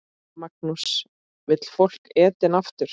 Magnús: Vill fólk Eden aftur?